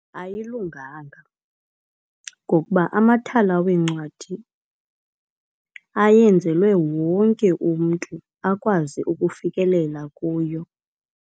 Ayilunganga ngokuba amathala weencwadi ayenzelwe wonke umntu akwazi ukufikelela kuyo.